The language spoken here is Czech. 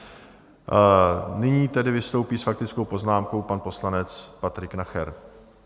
Nyní tedy vystoupí s faktickou poznámkou pan poslanec Patrik Nacher.